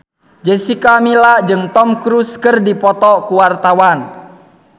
Jessica Milla jeung Tom Cruise keur dipoto ku wartawan